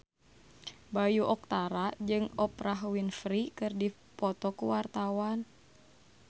Bayu Octara jeung Oprah Winfrey keur dipoto ku wartawan